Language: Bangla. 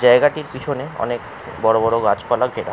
জায়গাটির পেছনে অনেক বড় গাছপালা ঘেরা।